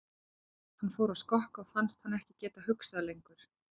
Hann fór að skokka og fannst hann ekki geta hugsað lengur.